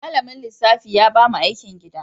Malamin lissafi ya ba mu aikin gida.